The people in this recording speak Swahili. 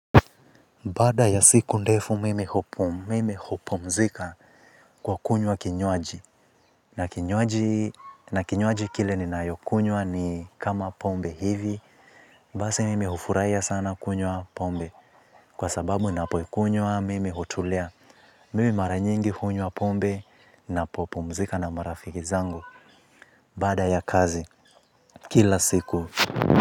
Baada ya siku ndefu mimi hupumzika kwa kunywa kinywaji. Na kinywaji kile ninayokunywa ni kama pombe hivi. Basi mimi hufurahia sana kunywa pombe. Kwa sababu napoikunywa mimi hutulia. Mimi mara nyingi hunywa pombe napopumzika na marafiki zangu. Baada ya kazi kila siku.